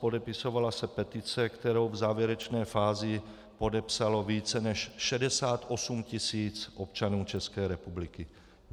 Podepisovala se petice, kterou v závěrečné fázi podepsalo více než 68 tisíc občanů České republiky.